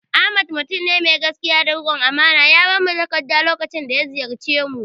Ahmad mutum ne mai gaskiya da riƙon amana, ya bamu takarda lokacin da ziyarce mu